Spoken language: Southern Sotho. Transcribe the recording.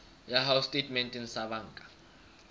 ya hao setatementeng sa banka